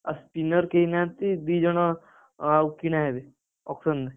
ଆଉ spinner କେହି ନାହାନ୍ତି ଆଉ ଦି ଜଣ କିଣା ହେବେ auction ରେ,